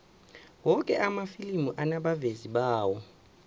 woke amafilimi anabavezi bawo